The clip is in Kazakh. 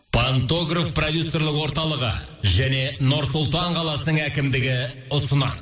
пантограф продюсерлік орталығы және нұр сұлтан қаласының әкімдігі ұсынады